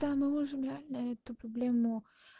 да мы можем реально эту проблему